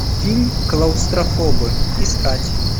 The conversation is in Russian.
фильм клаустрофобы искать